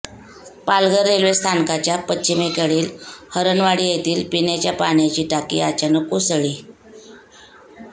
Palghar railway स्थानकाच्या पश्चिमेकडील हरणवाडी येथील पिण्याच्या पाण्याची टाकी अचानक कोसळली